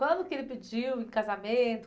Quando que ele pediu em casamento?